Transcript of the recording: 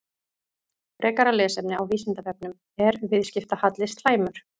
Frekara lesefni á Vísindavefnum: Er viðskiptahalli slæmur?